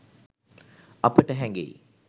අපට හැඟෙයි